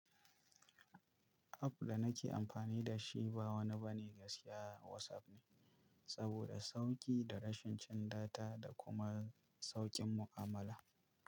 App da nake amfani da shi ba wani bane gaskiya WhatsApp ne, saboda sauƙi da rashin cin data da kuma sauƙin mu'amala.